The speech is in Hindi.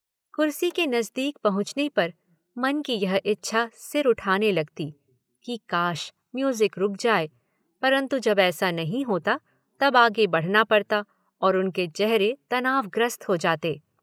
कुर्सी के नज़दीक पहुंचने पर मन की यह इच्छा सिर उठाने लगती कि काश म्यूज़िक रुक जाए परन्तु जब ऐसा नहीं होता तब आगे बढ़ना पड़ता और उनके चेहरे तनावग्रस्त हो जाते।